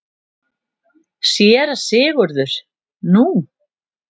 SÉRA SIGURÐUR: Nú?